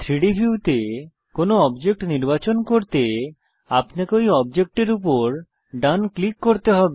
3ডি ভিউতে কোনো অবজেক্ট নির্বাচন করতে আপনাকে ঐ অবজেক্ট এর উপর ডান ক্লিক করতে হবে